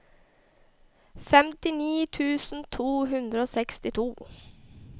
femtini tusen to hundre og sekstito